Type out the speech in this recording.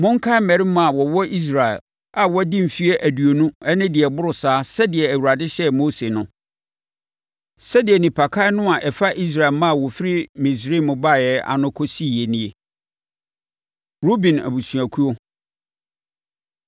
“Monkan mmarima a wɔwɔ Israel a wɔadi mfeɛ aduonu ne deɛ ɛboro saa sɛdeɛ Awurade hyɛɛ Mose no.” Sɛdeɛ nnipakan no a ɛfa Israel mma a wɔfiri Misraim baeɛ no ano kɔsiiɛ nie. Ruben Abusuakuo